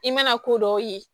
I mana ko dɔw ye